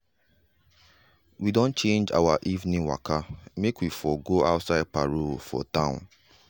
we don change our evening waka make we for go outside parole for town.